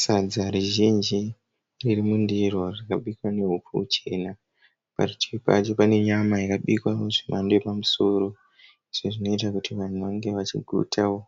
Sadza rizhinji ririmundiro rakabikwa nehupfu huchena. Parutivi pacho pane nyama yakabikwao zvemhando yepamusoro. Izvi zvinoita kuti vanhu vange vachigutao.